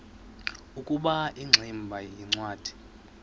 ukuba ingximba yincwadi